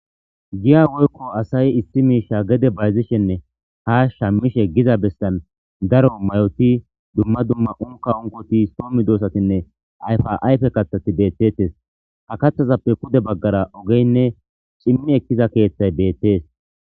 Giya woyko asayi issi misha gede bayzishenne ha shamishe giza besan daro mayoti dumma dumma unkaunkoti , so medosatinne ayfa ayfe kathati betetes,ha kathazappe pude bagara ogeyinne cimi ekiza kethayi betes.